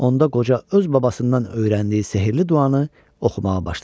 Onda qoca öz babasından öyrəndiyi sehirli duanı oxumağa başladı.